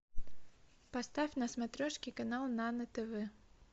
поставь на смотрешке канал нано тв